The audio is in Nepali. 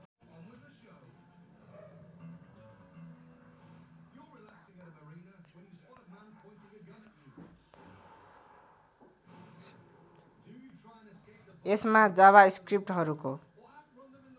यसमा जाभास्क्रिप्टहरूको